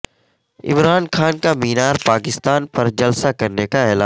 عمران خان کا مینار پاکستان پر جلسہ کرنے کا اعلان